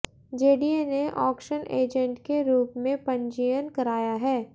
JDA ने auction agent के रूप में पंजीयन कराया है